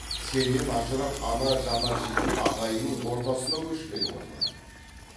сенен ажырап ана жаны ашитын ағайынның ортасына көшкелі отырмын